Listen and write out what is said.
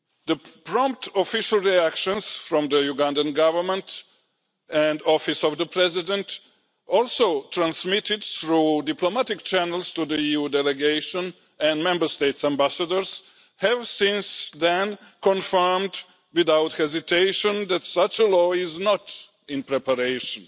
The prompt official reactions from the Ugandan Government and the Office of the President also transmitted through diplomatic channels to the EU delegation and Member States' ambassadors have since then confirmed, without hesitation, that such a law is not in preparation.